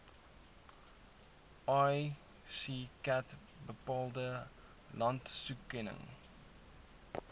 iccat bepaalde landstoekenning